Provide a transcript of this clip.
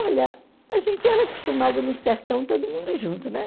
Olha, a gente era acostumada no sertão, todo mundo junto, né?